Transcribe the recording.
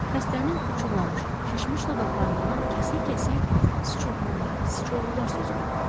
Xəstənin uçuğlamış, şişmiş dodaqlarından kəsik-kəsik sıçovullar, sıçovullar sözü qopurdu.